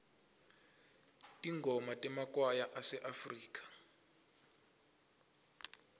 tingoma temakwaya aseafrika